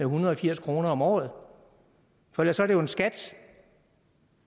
hundrede og firs kroner om året for ellers er det jo en skat